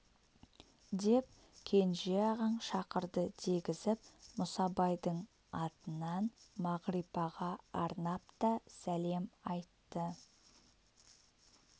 деп кенже ағаң шақырды дегізіп мұсабайдың атынан мағрипаға арнап та сәлем айтты